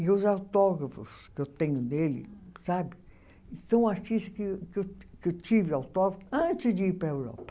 E os autógrafos que eu tenho dele sabe são artistas que eu tive autógrafos antes de ir para a Europa.